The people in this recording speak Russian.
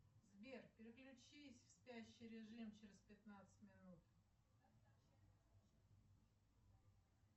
сбер переключись в спящий режим через пятнадцать минут